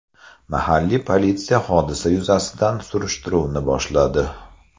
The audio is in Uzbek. Mahalliy politsiya hodisa yuzasidan surishtiruvni boshladi.